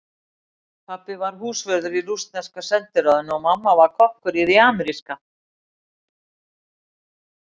Pabbi var húsvörður í rússneska sendiráðinu og mamma var kokkur í því ameríska.